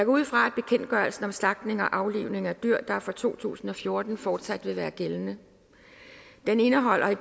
ud fra at bekendtgørelsen om slagtning og aflivning af dyr der er fra to tusind og fjorten fortsat vil være gældende den indeholder i